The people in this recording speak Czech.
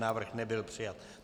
Návrh nebyl přijat.